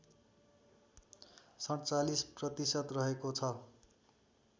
४७ प्रतिशत रहेको छ